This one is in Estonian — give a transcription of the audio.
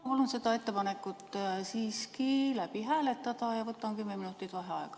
Palun seda ettepanekut siiski hääletada ja võtan kümme minutit vaheaega.